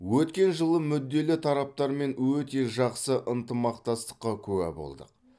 өткен жылы мүдделі тараптармен өте жақсы ынтымақтастыққа куә болдық